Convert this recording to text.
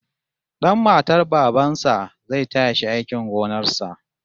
Dan matar baban sa zai taya shi aikin gonar sa